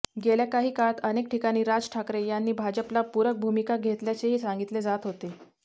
गेल्या काही काळात अनेक ठिकाणी राज ठाकरे यांनी भाजपला पूरक भूमिका घेतल्याचेही सांगितले जात होते